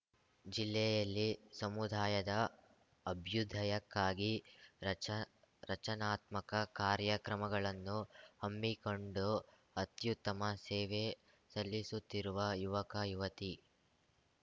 ಜಿಲ್ಲೆಯಲ್ಲಿ ಸಮುದಾಯದ ಅಭ್ಯುದಯಕ್ಕಾಗಿ ರಚ ರಚನಾತ್ಮಕ ಕಾರ್ಯಕ್ರಮಗಳನ್ನು ಹಮ್ಮಿಕೊಂಡು ಅತ್ಯುತ್ತಮ ಸೇವೆ ಸಲ್ಲಿಸುತ್ತಿರುವ ಯುವಕಯುವತಿ